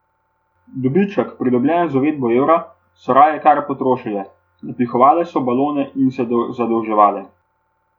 Dobiček, pridobljen z uvedbo evra, so raje kar potrošile, napihovale so balone in se zadolževale.